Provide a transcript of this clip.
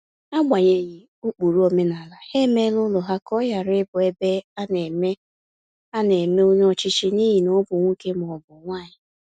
Agbanyeghi ụkpụrụ omenala, ha emela ụlọ ha ka ọ ghara ịbụ ebe ana ebe ana eme onye ọchịchị n'ihi na ọ bụ nwoke ma ọ bụ nwanyi